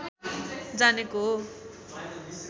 जानेको हो